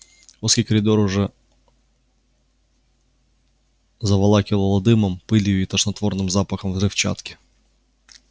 узкий коридор уже заволакивало дымом пылью и тошнотворным запахом взрывчатки